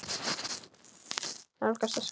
Nálgast öskur.